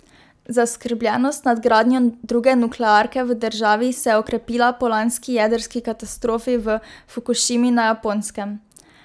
Zaskrbljenost nad gradnjo druge nuklearke v državi se je okrepila po lanski jedrski katastrofi v Fukušimi na Japonskem.